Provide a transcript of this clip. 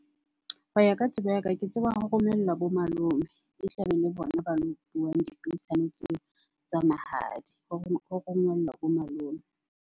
Ho ya ka tsebo ya ka, ke tseba ho romellwa bo malome. E tlabe e le bona ba dipuisano tseo tsa mahadi hore ho romellwa bo malome.